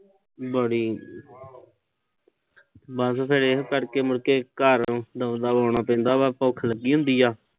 ਬੜੀ ਬਸ ਫਿਰ ਇਹ ਕਰਕੇ, ਘਰ ਦਬਾ ਦਬ ਆਉਣਾ ਪੈਂਦਾ ਵਾ। ਭੁੱਖ ਲੱਗੀ ਹੁੰਦੀ ਆ।